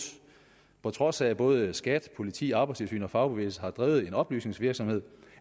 på trods af at både skat politi arbejdstilsynet og fagbevægelsen har drevet en oplysningsvirksomhed